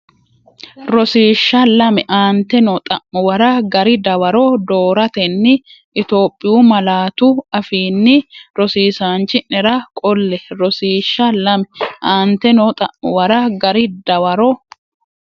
Rosiishsha Lame Aante noo xa’muwara gari dawaro dooratenni Itophiyu malaatu afiinni rosiisaanchi’nera qolle Rosiishsha Lame Aante noo xa’muwara gari dawaro.